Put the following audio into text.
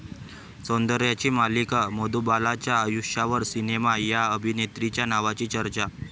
सौंदर्याची मल्लिका मधुबालाच्या आयुष्यावर सिनेमा, 'या' अभिनेत्रीच्या नावाची चर्चा